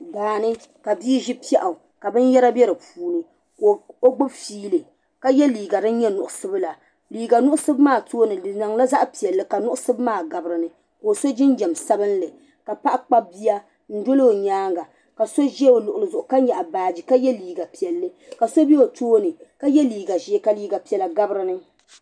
Daani ka biizi pɛɣu ka bin yɛra bɛ di puuni ka o gbubi fiili ka yɛ liiga din nyɛ nuɣsugula. liiga nuɣsub maa tooni diniŋla zaɣpɛli. kanuɣsib maa gabi dini ka oso jinjam. sabinli. ka paɣa Kpab biya n-doli. o nyaaŋa . kaso zɛ oluɣli zuɣu ka nyaɣi baaji ka yɛ liiga piɛlli. ka so bɛ tooni ka yɛ liiga zee ka liiga piɛla gabi dini